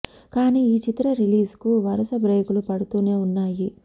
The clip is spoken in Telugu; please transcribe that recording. కానీ ఈ చిత్ర రిలీజ్ కు వరుస బ్రేక్ లు పడుతూనే ఉన్నాయి